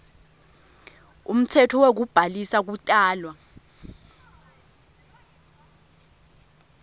umtsetfo wekubhalisa kutalwa